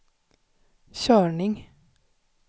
körning